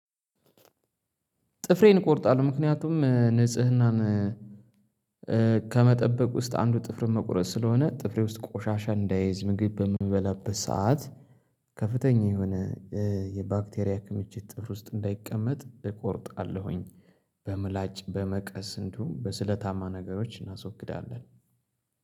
ጥፍሬን እቆርጣለሁ ምክንያቱም ንጽህናን ከመጠበቅ ውስጥ አንዱ ጥፍር መቁረጥ ስለሆነ ጥፍሬ ውስጥ ቆሻሻ እንዳይዝ ምግብ በምበላበት ሰዓት ከፍተኛ የሆነ የባክቴሪያ ክምችት ጥፍስ ውሰጥ እንዳይቀመጥ እቆርጣለሁኝ። በምላጭ በመቀስ እንዲሁም በስለታማ ነገሮች እናስወግዳለን።